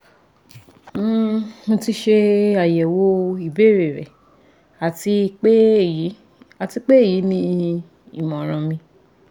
um Mo ti ṣe ayẹwo ibeere rẹ ati pe eyi ati pe eyi ni imọran mi